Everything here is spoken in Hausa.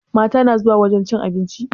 Mata na zuwa wajen cin abinci?